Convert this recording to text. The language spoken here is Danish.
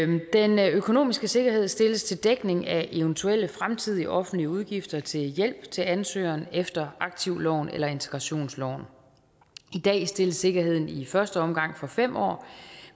den økonomiske sikkerhed stilles til dækning af eventuelle fremtidige offentlige udgifter til hjælp til ansøgeren efter aktivloven eller integrationsloven i dag stilles sikkerheden i første omgang for fem år